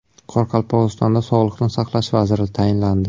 Qoraqalpog‘istonda sog‘liqni saqlash vaziri tayinlandi.